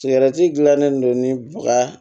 Sigɛrɛti gilalen don ni baga